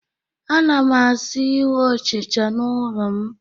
A na m asị ịhụ ọchịcha n'ụlọ m